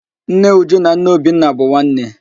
Nne Uju na nne Obinna bụ nwanne